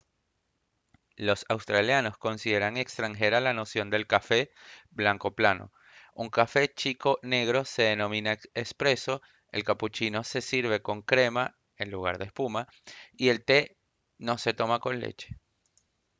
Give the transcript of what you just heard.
los australianos consideran extranjera la noción del café «blanco plano». un café chico negro se denomina «espresso» el cappuccino se sirve con crema en lugar de espuma y el té no se toma con leche